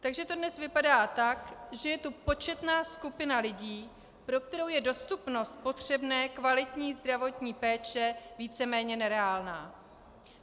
Takže to dnes vypadá tak, že je tu početná skupina lidí, pro kterou je dostupnost potřebné kvalitní zdravotní péče víceméně nereálná.